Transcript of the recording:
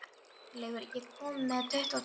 Arnleifur, ég kom með tuttugu og tvær húfur!